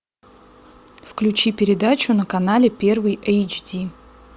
включи передачу на канале первый эйч ди